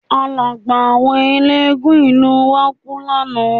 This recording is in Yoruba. Àlágbáà àwọn eléégún ìlú wa kú lánàá